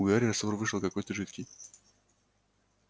у гарри раствор вышел какой-то жидкий